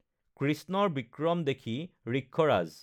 কৃষ্ণৰ বিক্ৰম দেখি ঋক্ষৰাজ